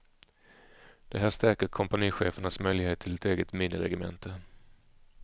Det här stärker kompanichefernas möjligheter till ett eget miniregemente.